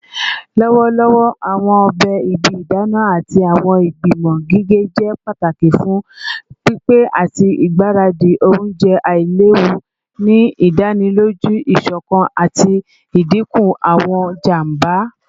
Lọwọlọwọ, awọn ọbẹ ibi idana ati awọn igbimọ gige jẹ pataki fun pipe ati igbaradi ounjẹ ailewu, ni idaniloju isokan ati idinku awọn ijamba.